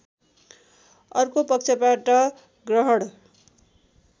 अर्को पक्षबाट ग्रहण